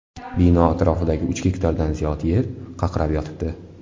Bino atrofidagi uch gektardan ziyod yer qaqrab yotibdi.